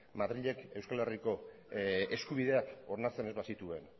madrilek euskal herriko eskubideak onartzen ez bazituen